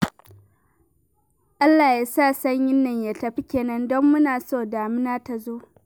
Allah ya sa sanyin nan ya tafi kenan, don muna so damina ta zo